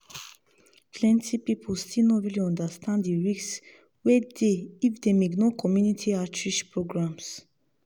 plenty people still no really understand the risk wey dey if dem ignore community outreach programs.